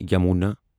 Yamuna